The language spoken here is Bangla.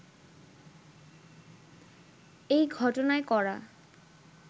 এই ঘটনায় করা